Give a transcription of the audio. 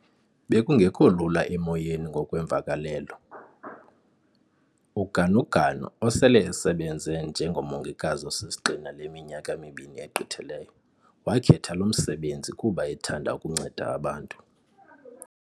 "Bekungekho lula emoyeni ngokwemvakalelo."UGanuganu, osele esebenze njengomongikazi osisigxina le minyaka mibini egqithileyo, wakhetha lo msebenzi kuba ethanda ukunceda abantu.